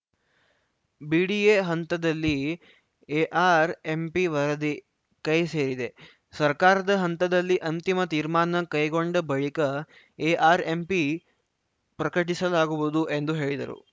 BDA ಹಂತದಲ್ಲಿ ಎಆರ್‌ಎಂಪಿವರದಿ ಕೈ ಸೇರಿದೆ ಸರ್ಕಾರದ ಹಂತದಲ್ಲಿ ಅಂತಿಮ ತೀರ್ಮಾನ ಕೈಗೊಂಡ ಬಳಿಕ ಎಆರ್‌ಎಂಪಿ ಪ್ರಕಟಿಸಲಾಗುವುದು ಎಂದು ಹೇಳಿದರು